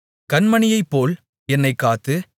கண்மணியைப்போல் என்னைக் காத்து